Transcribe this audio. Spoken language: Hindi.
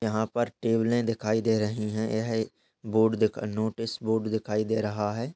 यहां पर टेबलें दिखाई दे रहीं हैं। यह एक बोर्ड दिक् नोटिस बोर्ड दिखाई दे रहा है।